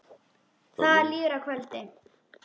Það líður að kvöldi.